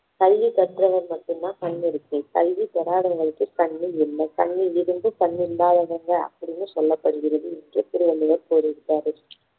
கல்வி கற்றவர்க்கு மட்டும் தான் கண் இருக்கு கல்வி பெறாதவங்களுக்கு கண் இல்லை கண் இருந்தும் கண் இல்லாதவங்க அப்படின்னு சொல்லப்படுகிறது என்று திருவள்ளுவர் கூறியிருக்காரு